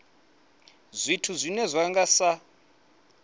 zwithu zwine zwa nga sa